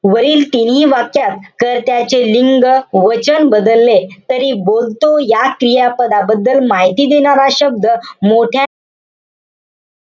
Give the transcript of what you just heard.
वरील तिन्ही वाक्यात, कर्त्याचे लिंग, वचन बदलले तरी बोलतो या क्रियापदाबद्दल माहिती देणारा शब्द मोठ्या,